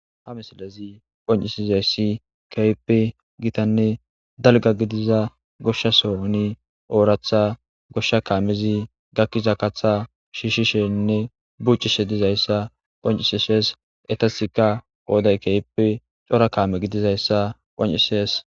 Ha misilezi qoncisizaysi kehipe gitanne dalga gidiza goshasoni oratha gosha kaamezi gakiza katha shishishenne bucishe dizaysa qoncises etasika qoday keehipe cora kame gidizaysa qoncises